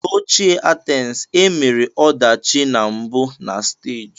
N'ochie Athens e mere ọdachi na mbụ na stagi.